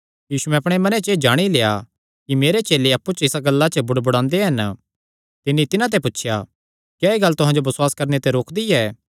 यीशुयैं अपणे मने च एह़ जाणी लेआ कि मेरे चेले अप्पु च इसा गल्ला पर बुड़बुड़ांदे हन तिन्नी तिन्हां ते पुछया क्या एह़ गल्ल तुहां जो बसुआस करणे ते रोकदी ऐ